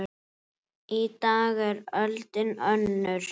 Í dag er öldin önnur.